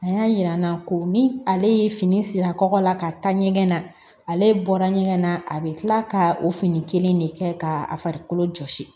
A y'a jira n na ko ni ale ye fini siri kɔkɔ la ka taa ɲɛgɛn na ale bɔra ɲɛgɛn na a be kila ka o fini kelen de kɛ ka farikolo jɔsi